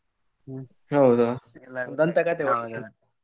ಹೌದಾ! ದಂತಕತೆ ಮಾರೆ.